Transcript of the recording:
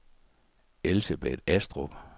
Elsebeth Astrup